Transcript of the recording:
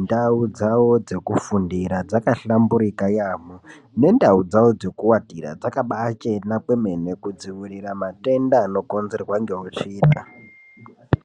ndau dzao dzekufundira dzakahlamburika yaambo nendau dzao dzekuwatira dzakabaachena kwemene kudziirira matenda anaokonzerwa ngeutsvina.